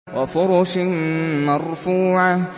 وَفُرُشٍ مَّرْفُوعَةٍ